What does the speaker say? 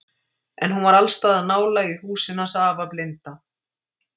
En hún var alls staðar nálæg í húsinu hans afa blinda.